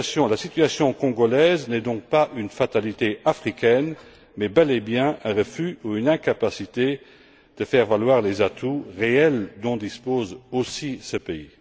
La situation congolaise n'est donc pas une fatalité africaine, mais bel et bien un refus ou une incapacité de faire valoir les atouts réels dont dispose aussi ce pays.